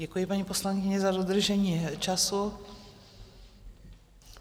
Děkuji, paní poslankyně, za dodržení času.